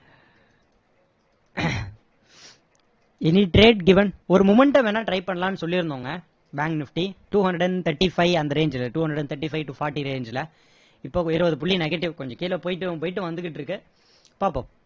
any trade given ஒரு momentum வேணும்னா try பண்ணலாம்னு சொல்லி இருந்தோங்க bank nifty two hundred and thirty-five அந்த range ல two hundred and thirty five to forty range ல இப்போ இருவது புள்ளி negative கொஞ்சம் கீழ போயிட்டும் போயிட்டும் வந்துகிட்டு இருக்கு பாப்போம்